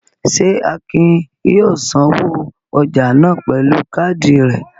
Ṣé Akin yóò sanwó ọjà náà pẹ̀lú káádì rẹ̀?